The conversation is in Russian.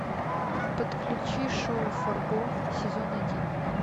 подключи шоу фарго сезон один